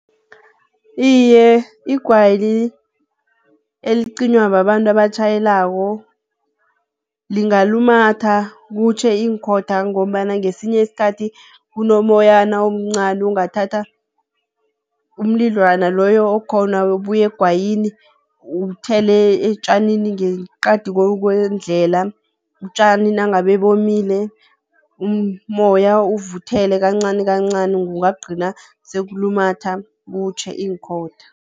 Iye, igwayi elicinywa babantu abatjhayelako lingalumatha kutjhe iinkhotha ngombana ngesinye isikhathi kunomoyana omncani ongathatha umlidlwana loyo okhona obuyegwayini, uthele etjanini ngeqadi kwendlela. Utjani nangabe bomile umoya uvuthele kancanikancani, kungagcina sekulumatha kutjhe iinkhotha.